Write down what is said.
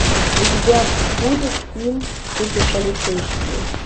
у тебя будет фильм суперполицейский